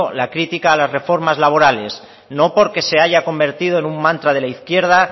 la crítica a las reformas laborales no porque se haya convertido en un mantra de la izquierda